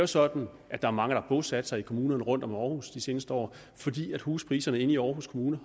sådan at der er mange der har bosat sig i kommunerne rundt om århus de seneste år fordi huspriserne inde i århus kommune